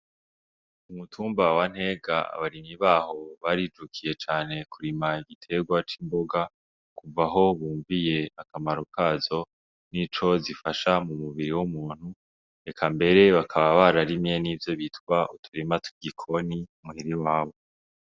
Ku mutumba wa Ntega abarimyi barijukiye kurima igiterwa c'imboga kuvaho bumviye akamaro kazo nico zifasha mu mubiri w'umuntu eka mbere bakaba bararimye nivyo bita uturima tw'igikoni mu hira iwabo.